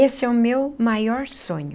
Esse é o meu maior sonho.